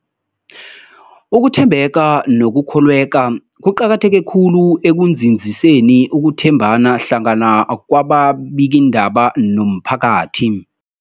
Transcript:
Ukuthembeka nokukholweka kuqakatheke khulu ekunzinziseni ukuthembana hlangana kwababikiindaba nomphakathi.